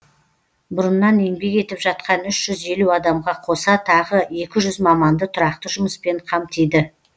бұрыннан еңбек етіп жатқан үш жүз елу адамға қоса тағы екі жүз маманды тұрақты жұмыспен қамтиды